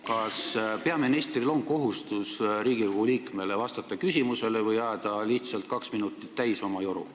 Kas peaministril on kohustus vastata Riigikogu liikme küsimusele või võib ta lihtsalt kaks minutit oma joru ajada?